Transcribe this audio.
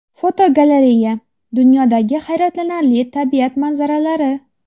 Fotogalereya: Dunyodagi hayratlanarli tabiat manzaralari.